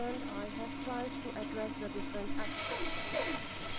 I have tried to address the different aspects of this question.